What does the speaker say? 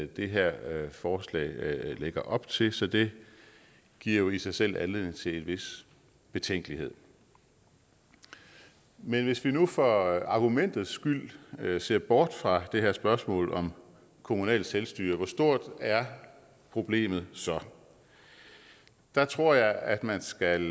det her forslag lægger op til så det giver jo i sig selv anledning til en vis betænkelighed men hvis vi nu for argumentet skyld ser bort fra det her spørgsmål om kommunalt selvstyre hvor stort er problemet så der tror jeg at man skal